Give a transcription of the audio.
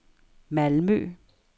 Malmø